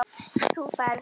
Þú ferð.